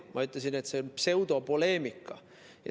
Ma ütlesin, et see on pseudopoleemika.